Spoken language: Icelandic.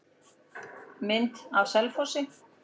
Mynd af Selfossi.